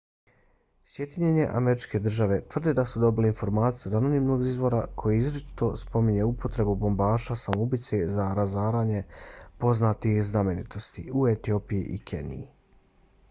sjedinjene američke države tvrde da su dobile informacije od anonimnog izvora koji izričito spominje upotrebu bombaša samoubica za razaranje poznatih znamenitosti u etiopiji i keniji